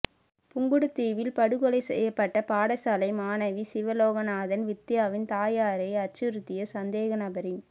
புங்குடுதீவில் படுகொலை செய்யப்பட்ட பாடசாலை மாணவி சிவலோகநாதன் வித்தியாவின் தாயாரை அச்சுறுத்திய சந்தேகநபரின்